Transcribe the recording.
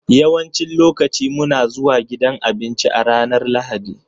Yawancin lokaci muna zuwa gidan abinci a ranar Lahadi.